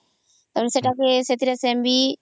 ଆଉ ସେଥିର ଏ ବିନ